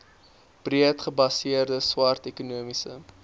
breedgebaseerde swart ekonomiese